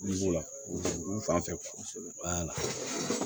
Yiri b'o la olu fan fɛ